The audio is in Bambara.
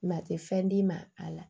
Mɛ tɛ fɛn d'i ma a la